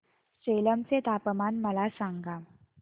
सेलम चे तापमान मला सांगा